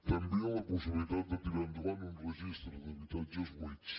també la possibilitat de tirar endavant un registre d’habitatges buits